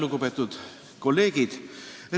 Lugupeetud kolleegid!